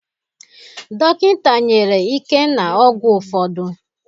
Dọkịta nyere Ikenna ọgwụ ụfọdụ